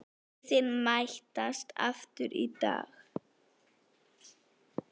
Liðin mætast aftur í dag.